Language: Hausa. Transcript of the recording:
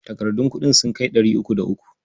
Takardun kuɗin sun kai ɗari uku da uku.